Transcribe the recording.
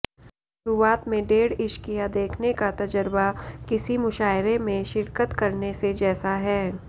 शुरुआत में डेढ इश्किया देखने का तजरबा किसी मुशायरे में शिरकत करने से जैसा है